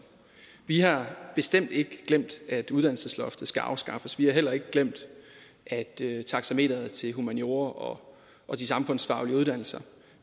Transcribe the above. vi har bestemt ikke glemt at uddannelsesloftet skal afskaffes vi har heller ikke glemt at taxameteret til humaniora og og de samfundsfaglige uddannelser